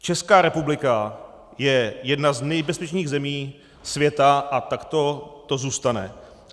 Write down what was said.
Česká republika je jedna z nejbezpečnějších zemí světa a takto to zůstane.